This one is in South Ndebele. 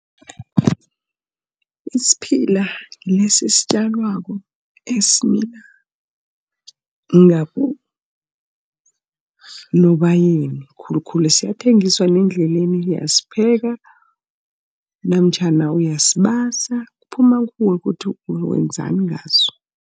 Isiphila ngilesi esitjalwako, esimila Nobayeni khulukhulu siyathengiswa nendleleni, uyasipheka, namtjhana uyasibasa kuphuma kuwe ukuthi wenzani ngaso.